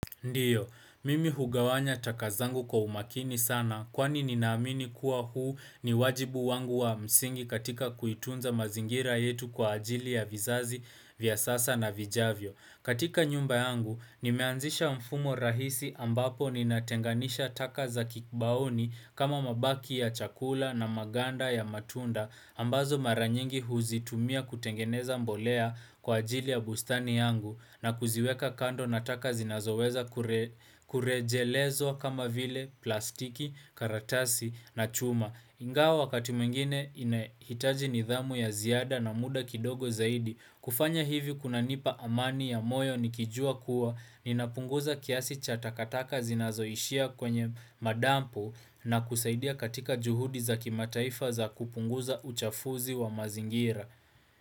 Ndiyo, mimi hugawanya taka zangu kwa umakini sana kwani nina amini kuwa huu ni wajibu wangu wa msingi katika kuitunza mazingira yetu kwa ajili ya vizazi, vya sasa na vijavyo. Katika nyumba yangu, nimeanzisha mfumo rahisi ambapo nina tenganisha taka za kibaoni kama mabaki ya chakula na maganda ya matunda ambazo mara nyingi huzitumia kutengeneza mbolea kwa ajili ya bustani yangu na kuziweka kando na taka zinazoweza kure kurejelezo kama vile plastiki, karatasi na chuma. Ingao wakati mwngine inahitaji nidhamu ya ziada na muda kidogo zaidi. Kufanya hivi kuna nipa amani ya moyo nikijua kuwa, ninapunguza kiasi cha takataka zinazoishia kwenye madampu na kusaidia katika juhudi za kimataifa za kupunguza uchafuzi wa mazingira.